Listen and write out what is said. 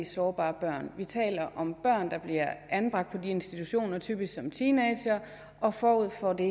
sårbare børn vi taler om børn der bliver anbragt på de institutioner typisk som teenagere og forud for det